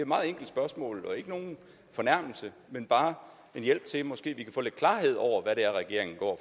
meget enkelt spørgsmål og ikke nogen fornærmelse men bare en hjælp til at vi måske kan få lidt klarhed over hvad det er regeringen går